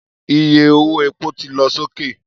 Iye owó epo ti lọ sókè